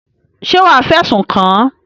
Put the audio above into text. Ṣé wàá fẹ̀sùn kàn án?